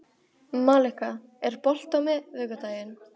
Malika, er bolti á miðvikudaginn?